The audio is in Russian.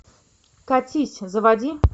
катись заводи